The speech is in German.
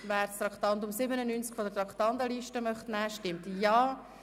Wer das Traktandum 97 von der Traktandenliste nehmen möchte, stimmt Ja,